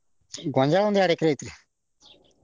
ಗೊಂಜ್ಯಾಳ ಒಂದ ಎರಡ್ ಎಕ್ರೆ ಐತ್ರಿ.